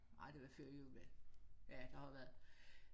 Ah det var før jul da ja det har det været